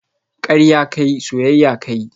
Karya ka yi, soyayya ka yi